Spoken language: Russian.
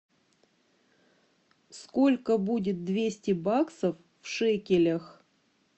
сколько будет двести баксов в шекелях